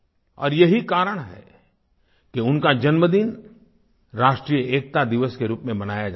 और यही कारण है कि उनका जन्मदिन राष्ट्रीय एकता दिवस के रूप में मनाया जाता है